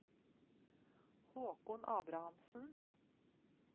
Håkon Abrahamsen